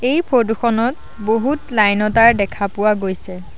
এই ফৰটো খনত বহুত লাইন ৰ তাঁৰ দেখা পোৱা গৈছে।